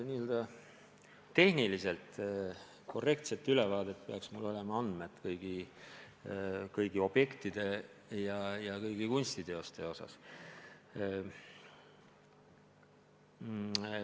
Et teha tehniliselt korrektne ülevaade, peaks mul olema andmed kõigi objektide ja kõigi kunstiliikide kohta.